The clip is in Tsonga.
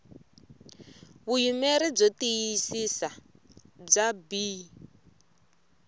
vuyimeri byo tiyisisa bya bee